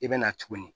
I bɛ na tuguni